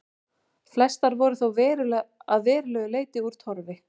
Flestar voru þó að verulegu leyti úr torfi.